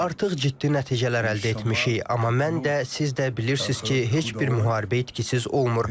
Artıq ciddi nəticələr əldə etmişik, amma mən də, siz də bilirsiniz ki, heç bir müharibə itkisiz olmur.